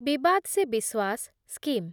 ବିବାଦ୍ ସେ ବିଶ୍ୱାସ୍ ସ୍କିମ୍